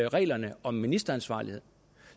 reglerne om ministeransvarlighed